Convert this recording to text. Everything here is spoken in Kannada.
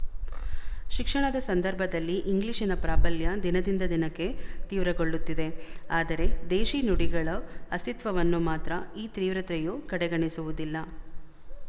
ಶಿಕ್ಷಣದ ಸಂದರ್ಭದಲ್ಲಿ ಇಂಗ್ಲಿಶಿನ ಪ್ರಾಬಲ್ಯ ದಿನದಿಂದ ದಿನಕ್ಕೆ ತೀವ್ರಗೊಳ್ಳುತ್ತಿದೆ ಆದರೆ ದೇಶೀ ನುಡಿಗಳ ಅಸ್ತಿತ್ವವನ್ನು ಮಾತ್ರ ಈ ತೀವ್ರತೆಯು ಕಡೆಗಣಿಸುವುದಿಲ್ಲ